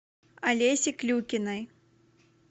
олеси клюкиной